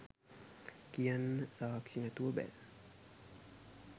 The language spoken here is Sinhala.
කියන්න සාක්ෂි නැතුව බෑ.